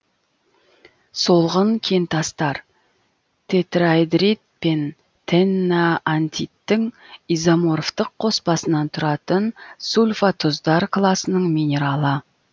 солғын кентастар тетраэдрит пен теннантиттің изоморфтық қоспасынан тұратын сульфотұздар класының минералы